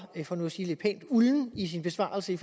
for nu at sige det pænt ulden i sin besvarelse